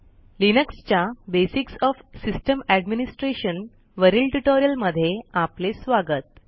Linux च्या basics of system administration वरील tutorial मध्ये आपले स्वागत